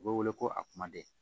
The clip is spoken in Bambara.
U bɛ wele ko a kumaden